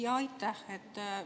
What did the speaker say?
Jaa, aitäh!